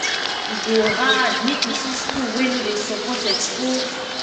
e go hard make you see school wey no dey support expo